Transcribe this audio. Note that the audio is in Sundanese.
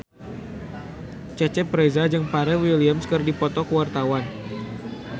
Cecep Reza jeung Pharrell Williams keur dipoto ku wartawan